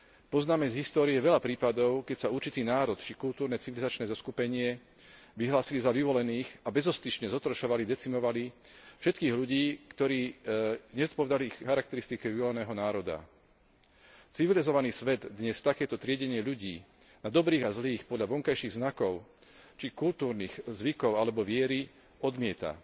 Poznáme z histórie veľa prípadov, keď sa určitý národ či kultúrno civilizačné zoskupenie vyhlásili za vyvolených a bezostyšne zotročovali, decimovali všetkých ľudí, ktorí nezodpovedali ich charakteristike vyvoleného národa. Civilizovaný svet dnes takéto triedenie ľudí na dobrých a zlých podľa vonkajších znakov či kultúrnych zvykov, alebo viery odmieta.